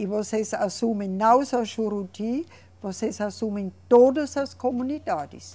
E vocês assumem não só Juruti, vocês assumem todas as comunidades.